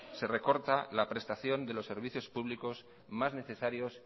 se recorta la prestación de los servicios públicos más necesarios